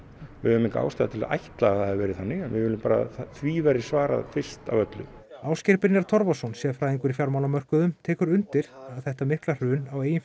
við höfum enga ástæðu til að ætla að það hafi verið þannig en að því verði svarað fyrst af öllu Ásgeir Brynjar Torfason sérfræðingur í fjármálamörkuðum tekur undir að þetta mikla hrun á eigin